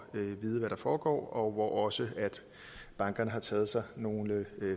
vide hvad der foregår og hvor også bankerne har taget sig nogle